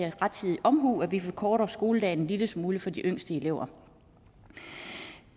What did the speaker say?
er rettidig omhu at vi forkorter skoledagen en lille smule for de yngste elever